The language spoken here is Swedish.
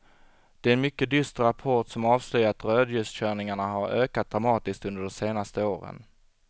Det är en mycket dyster rapport som avslöjar att rödljuskörningarna har ökat dramatiskt under de senaste åren.